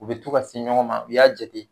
U bɛ to ka se ɲɔgɔn ma u y'a jate